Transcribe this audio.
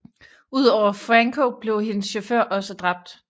Udover Franco blev hendes chauffør også dræbt